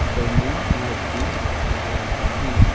ऊपर मे लाइट भी दिखाई दे रहा है।